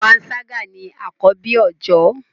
panṣaga ní akọbi oojọ